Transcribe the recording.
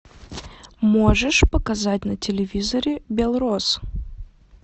можешь показать на телевизоре белрос